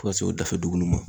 Fo ka se o dafɛ dugu nunnu ma.